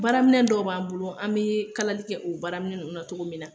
Baaraminɛn dɔw b'an bolo, an bee kalali kɛ o baaraminɛn nunnu na cogo min na